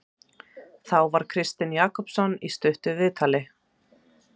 Þá var Kristinn Jakobsson í stuttu viðtali.